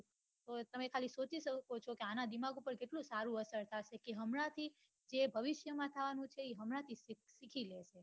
તમે ખાલી સોચી શકો છો આના દિમાગ ઉપર કેટલું સારું અસર થશે હમણાં થી તે ભવિષ્ય માં થવાનું છે તે હમણાં સીખી લે